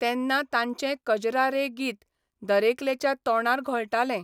तेन्ना तांचें 'कजरा रे 'गीत दरेकल्याच्या तोंडार घोळटालें.